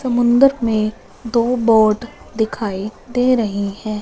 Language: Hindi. समुंदर में दो बोट दिखाई दे रही है।